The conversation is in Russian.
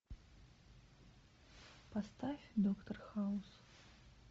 поставь доктор хаус